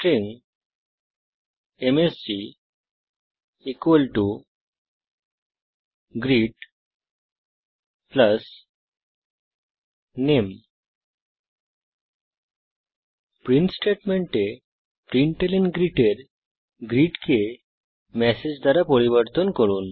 string MSG greet নামে print স্টেটমেন্টে println এর গ্রীট কে মেসেজ দ্বারা পরিবর্তন করুন